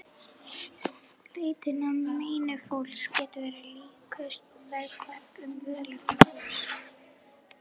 Leitin að meini fólks getur verið líkust vegferð um völundarhús.